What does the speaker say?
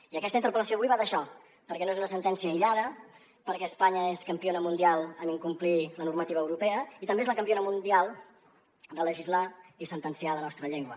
i aquesta interpel·lació avui va d’això perquè no és una sentència aïllada perquè espanya és campiona mundial en incomplir la normativa europea i també és la campiona mundial de legislar i sentenciar la nostra llengua